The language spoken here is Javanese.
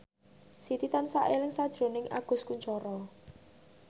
Siti tansah eling sakjroning Agus Kuncoro